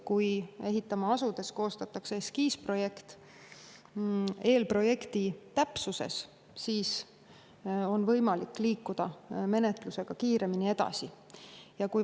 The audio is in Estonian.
Kui asutakse ehitama ja koostatakse eskiisprojekt, mis on eelprojekti täpsusega, siis on võimalik menetlusega kiiremini edasi liikuda.